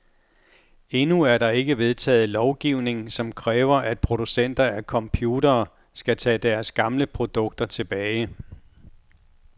Endnu er der ikke vedtaget lovgivning, som kræver, at producenter af computere skal tage deres gamle produkter tilbage.